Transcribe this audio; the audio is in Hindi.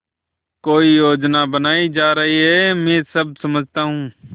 कोई योजना बनाई जा रही है मैं सब समझता हूँ